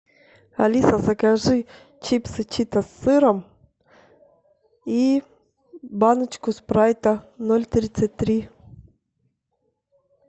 алиса закажи чипсы читос с сыром и баночку спрайта ноль тридцать три